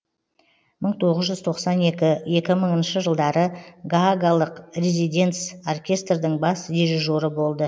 мың тоғыз жүз тоқсан екінші екі мыңыншы жылдары гаагалық резиденц оркестрдің бас дирижері болды